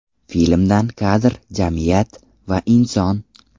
Filmdan kadr Jamiyat va inson.